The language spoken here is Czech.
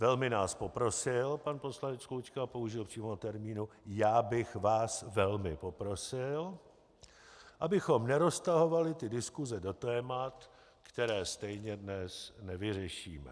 Velmi nás poprosil, pan poslanec Klučka použil přímo termínu "já bych vás velmi poprosil", abychom neroztahovali ty diskuse do témat, která stejně dnes nevyřešíme.